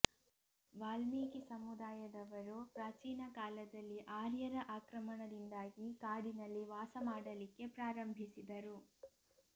ವಾಲ್ಮೀಕಿ ಸಮುದಾಯದವರು ಪ್ರಾಚೀನ ಕಾಲದಲ್ಲಿ ಆರ್ಯರ ಆಕ್ರಮಣದಿಂದಾಗಿ ಕಾಡಿನಲ್ಲಿ ವಾಸ ಮಾಡಲಿಕ್ಕೆ ಪ್ರಾರಂಭಿಸಿದರು